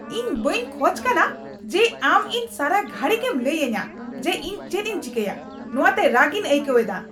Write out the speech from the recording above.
ᱤᱧ ᱵᱟᱹᱧ ᱠᱷᱚᱡ ᱠᱟᱱᱟ ᱡᱮ ᱟᱢ ᱤᱧ ᱥᱟᱨᱟ ᱜᱷᱟᱹᱲᱤ ᱜᱮᱢ ᱞᱟᱹᱭ ᱟᱹᱧᱟᱹ ᱡᱮ ᱤᱧ ᱪᱮᱫ ᱤᱧ ᱪᱮᱠᱟᱭᱟ ᱾ ᱱᱚᱶᱟ ᱛᱮ ᱨᱟᱹᱜᱤᱧ ᱟᱹᱭᱠᱟᱹᱣ ᱮᱫᱟ ᱾